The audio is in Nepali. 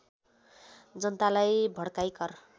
जनतालाई भड्काई कर